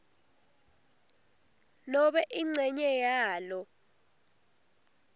nobe incenye yalo